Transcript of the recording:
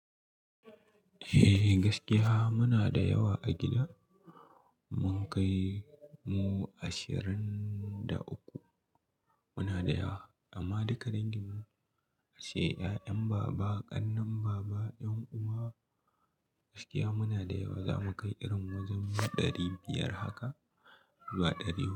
Eh gaskiya muna da yawa a gida. Mun kai mu ashirin da uku. Muna da yawa amma duka dangin mu sai 'ya'yan baba, ƙannan baba, 'yan uwa gaskiya muna da yawa. Za mu kai irin wajen ɗari biyar haka zuwa ɗari huɗu.